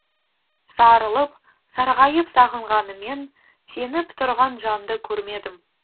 сарылып сарғайып сағынғаныммен сеніп тұрған жанды көрмедім